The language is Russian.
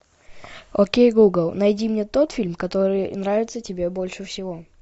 окей гугл найди мне тот фильм который нравится тебе больше всего